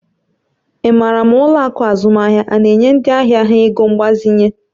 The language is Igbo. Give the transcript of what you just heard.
Ị maara ma ụlọ akụ azụmaahịa a na-enye ndị ahịa ha ego mgbazinye?